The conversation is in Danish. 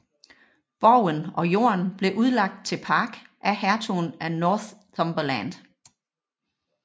Borgen og jorden blev udlagt til park af hertugen af Northumberland